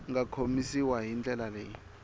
nga komisiwa hi ndlela leyi